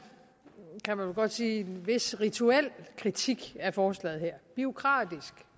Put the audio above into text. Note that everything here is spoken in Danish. kan man vel godt sige vis rituel kritik af forslaget her bureaukratisk